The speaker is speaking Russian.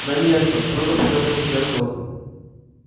на место строго проговорил судья скотт